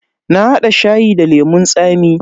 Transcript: Na hada shayi da lemun tsami.